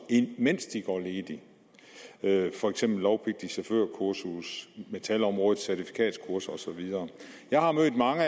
mens de går ledige for eksempel lovpligtige chaufførkurser metalområdets certifikatkurser osv jeg har mødt mange